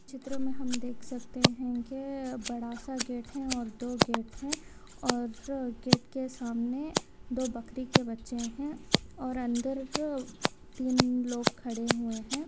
चिए मे हम देख सकते हे के बासा गेट है और दो गेट है और गेट के सामने दो बकरी के बच्चे है और अंदर तीन लोग खड़े हुए है।